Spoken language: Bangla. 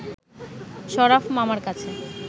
শরাফ মামার কাছে